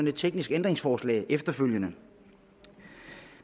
et teknisk ændringsforslag efterfølgende